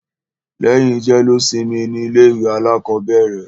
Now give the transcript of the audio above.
Lẹ́yìn jẹ́lósimi ni ilé ìwé alákọ̀bẹ̀rẹ̀.